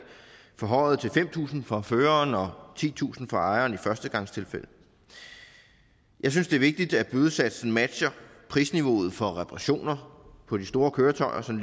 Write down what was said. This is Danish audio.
forhøjet til fem tusind kroner for føreren og titusind kroner for ejeren i førstegangstilfælde jeg synes det er vigtigt at bødesatsen matcher prisniveauet for reparationer på de store køretøjer som